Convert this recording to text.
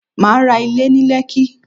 Mà á ra Ilé ní Lẹ́kí